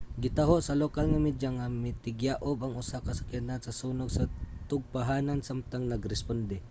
gitaho sa lokal nga media nga mitikyaob ang usa ka sakyanan sa sunog sa tugpahanan samtang nag-responde